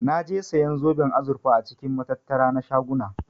Naje siyan zoben azurfa a cikin matattara na shaguna.